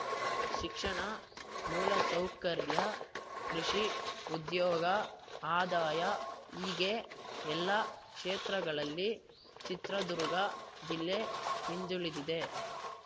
ಶಿಕ್ಷಣ ಮೂಲಸೌಕರ್ಯ ಕೃಷಿ ಉದ್ಯೋಗ ಆದಾಯ ಹೀಗೆ ಎಲ್ಲ ಕ್ಷೇತ್ರಗಳಲ್ಲಿ ಚಿತ್ರದುರ್ಗ ಜಿಲ್ಲೆ ಹಿಂದುಳಿದಿದೆ